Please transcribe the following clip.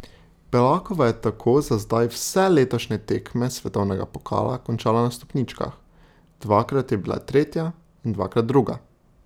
Belakova je tako za zdaj vse letošnje tekme svetovnega pokala končala na stopničkah, dvakrat je bila tretja in dvakrat druga.